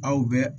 Aw bɛ